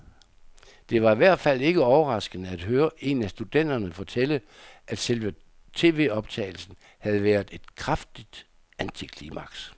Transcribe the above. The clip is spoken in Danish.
Det var i hvert fald ikke overraskende at høre en af studenterne fortælle, at selve tvoptagelsen havde været et kraftigt antiklimaks.